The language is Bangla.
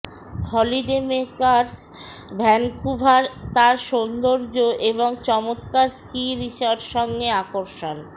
হলিডমেকারস ভ্যানকুভার তার সৌন্দর্য এবং চমৎকার স্কি রিসর্ট সঙ্গে আকর্ষণ